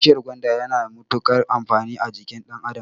Bishiyar gwanda yana da mutukar amfani a jikin ɗan adam